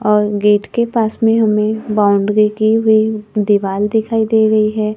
और गेट के पास में हमें बाउंड्री की हुई दीवाल दिखाई दे रही है।